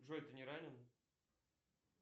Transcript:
джой ты не ранен